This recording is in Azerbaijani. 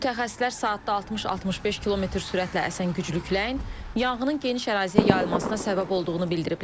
Mütəxəssislər saatda 60-65 km sürətlə əsən güclü küləyin yanğının geniş əraziyə yayılmasına səbəb olduğunu bildiriblər.